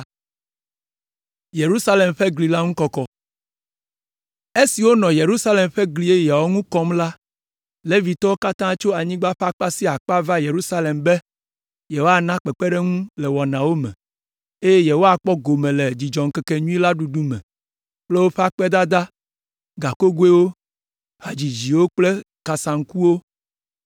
Esi wonɔ Yerusalem ƒe gli yeyeawo ŋu kɔm la, Levitɔwo katã tso anyigba la ƒe akpa sia akpa va Yerusalem be yewoana kpekpeɖeŋu le wɔnawo me, eye yewoakpɔ gome le dzidzɔŋkekenyui la ɖuɖu me kple woƒe akpedada, gakogoewo, hadzidziwo kple kasaŋkuwo.